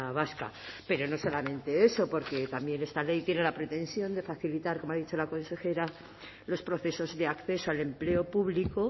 vasca pero no solamente eso porque también esta ley tiene la pretensión de facilitar como ha dicho la consejera los procesos de acceso al empleo público